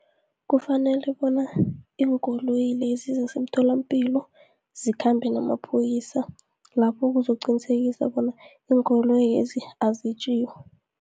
Kufanele bona iinkoloyi lezi zasemtholapilo zikhambe namaphoyisa, lapho kuzokuqinisekisa bona iinkoloyezi azetjiwa.